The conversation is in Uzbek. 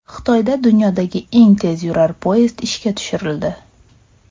Xitoyda dunyodagi eng tezyurar poyezd ishga tushirildi .